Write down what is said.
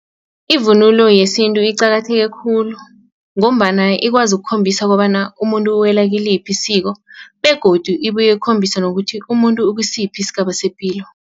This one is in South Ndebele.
Ivunulo yesintu iqakatheke khulu ngombana ikwazi ukukhombisa kobana umuntu uwela kiliphi isiko begodu ibuye itjengisa bona ukuthi umuntu uwela kisiphi isigaba sepilo.